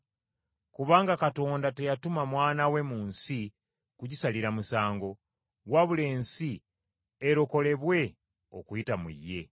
Kubanga Katonda teyatuma Mwana we mu nsi kugisalira musango, wabula ensi erokolebwe okuyita mu ye.